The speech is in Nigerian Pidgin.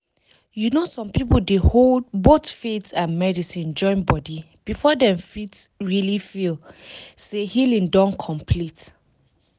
you know some people dey hold both faith and medicine join body before dem fit really feel say healing don complete.